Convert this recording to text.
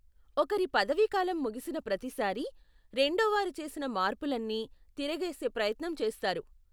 ఒకరి పదవీకాలం ముగిసిన ప్రతి సారి, రెండోవారు చేసిన మార్పులన్నీ తిరగేసే ప్రయత్నం చేస్తారు.